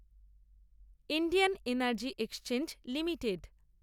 Indian energy exchange limited